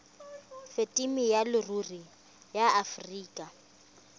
phemiti ya leruri ya aforika